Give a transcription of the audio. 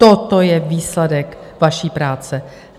Toto je výsledek vaší práce.